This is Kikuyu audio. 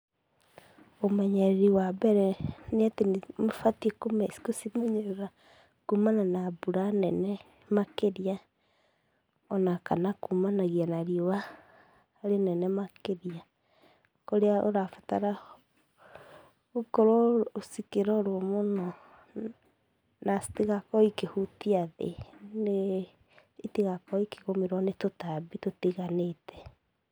Ũmenyereri wa mbere, nĩ ũbatiĩ kũcimenyerera kumana na mbura nene makĩria o na kana kumanagia na riũwa rĩnene makĩria, kũria ũrabatara gũkorũo cikĩrorũo mũno na citĩgakorũo ikĩhutia thĩ nĩ itĩgakorwo ikĩgũmĩrwo nĩ tũtambi tũtiganĩte.